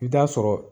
I bi taa sɔrɔ